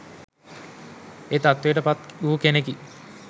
ඒ තත්ත්වයට පත් වූ කෙනෙකි